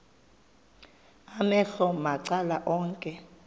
amehlo macala onke